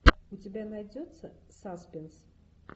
у тебя найдется саспинс